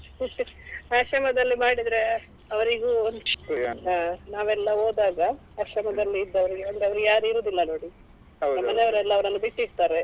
ಆಶ್ರಮದಲ್ಲಿ ಮಾಡಿದ್ರೆ ಅವರಿಗೂ ಒಂದು ನಾವೆಲ್ಲ ಹೋದಾಗ ಆಶ್ರಮದಲ್ಲಿ ಇದ್ದವರಿಗೆ ಒಂದು ಅವರಿಗೆ ಯಾರು ಇರುದಿಲ್ಲ ನೋಡಿ ಮನೆಯವರೆಲ್ಲ ಅವರನ್ನ ಬಿಟ್ಟಿರ್ತಾರೆ.